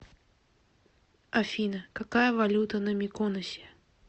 афина какая валюта на миконосе